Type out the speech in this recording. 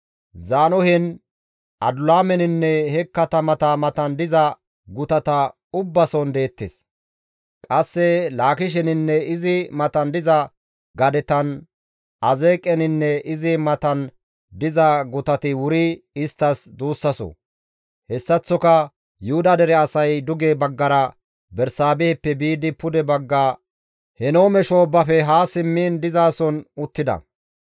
Zaanohen, Adulaameninne he katamata matan diza gutata ubbason deettes; qasse Laakisheninne izi matan diza gadetan, Azeeqeninne izi matan diza gutati wuri isttas duussaso; hessaththoka Yuhuda dere asay duge baggara Bersaabeheppe biidi pude bagga Henoome shoobbafe ha simmiin dizason uttida.